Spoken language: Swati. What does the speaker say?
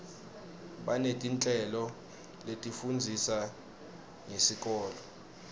banetinhlelo letifundzisa ngesikolo